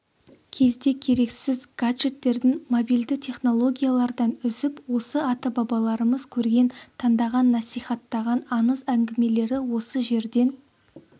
кезде керексіз гаджеттерден мобильді технологиялардан үзіп осы ата-бабаларымыз көрген таңдаған насихаттаған аңыз әңгімелері осы жерден